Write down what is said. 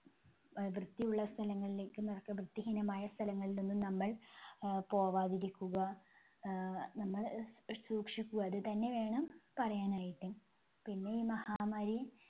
അഹ് വൃത്തിയുള്ള സ്ഥലങ്ങളിലേക്കും വൃത്തിഹീനമായ സ്ഥലങ്ങളിലൊന്നും നമ്മൾ ആഹ് പോവാതിരിക്കുക. ആഹ് നമ്മൾ സൂക്ഷിക്കുക അത് തന്നെ വേണം പറയാനായിട്ട്. പിന്നെ ഈ മഹാമാരി